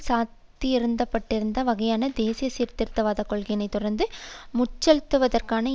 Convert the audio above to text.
சாத்தியப்பட்டிருந்த வகையான தேசிய சீர்திருத்தவாத கொள்கையினை தொடர்ந்து முன்செலுத்துவதற்கான